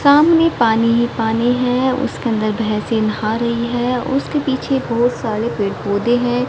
सामने पानी पानी है उसके अंदर भैंसे नहा रही है उसके पीछे बहोत सारे पेड़ पौधे हैं।